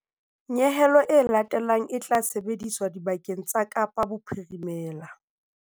Nyehelo e latelang e tla sebediswa dibakeng tsa Kapa Bophirimela.